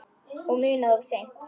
Og munað of seint.